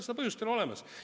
Seda põhjust ei ole olemas.